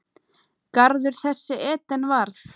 Garður þessi Eden varð.